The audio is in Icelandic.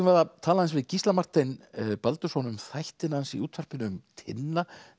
við að tala aðeins við Gísla Martein Baldursson um þættina hans í útvarpinu um Tinna